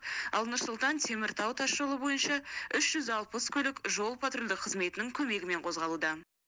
ал нұр сұлтан теміртау тасжолы бойынша үш жүз алпыс көлік жол патрульдік қызметінің көмегімен қозғалуда